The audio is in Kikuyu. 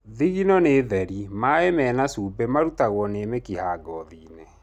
Thingino nĩ theri, maĩ mena cumbĩ marutagwo nĩ mĩkiha ngothiinĩ